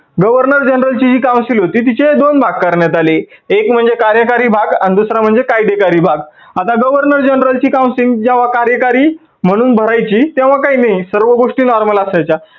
governor general ची जी council होती तिचे दोन भाग करण्यात आले. एक म्हणजे कार्यकारी भाग आणि दुसरा म्हणजे कायदेकारी भाग. आता governor general ची council जेव्हा कार्याकारी म्हणून भरायची तेव्हा काही नाही सर्व गोष्टी normal असायच्या.